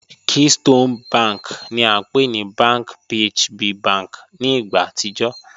Keystone bank ni a npe ni Bank PHB bank ni igba atijọ